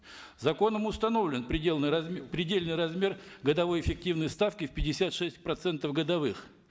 законом установлен предельный размер годовой эффективной ставки в пятьдесят шесть процентов годовых